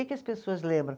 as pessoas lembram?